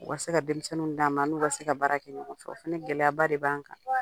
U ka se ka denmisɛnninw d'an ma, an n'u ka se ka baara kɛ ɲɔgɔn fɛ. O fɛnɛ gɛlɛyaba de b'an kan.